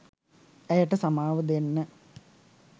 ඇයට සමාව දෙන්න